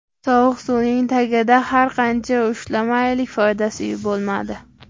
Sovuq suvning tagida har qancha ushlamaylik foydasi bo‘lmadi.